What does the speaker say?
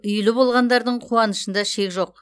үйлі болғандардың қуанышында шек жоқ